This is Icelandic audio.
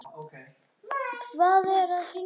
Hvað er að hrynja?